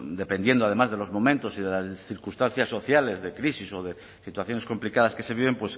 dependiendo además de los momentos y de las circunstancias sociales de crisis o de situaciones complicadas que se viven